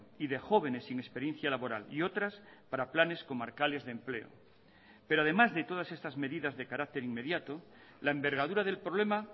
y de jóvenes sin experiencia laboral y otras para planes comarcales de empleo pero además de todas estas medidas de carácter inmediato la envergadura del problema